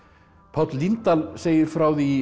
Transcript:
Páll Líndal segir frá því